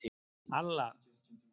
Alla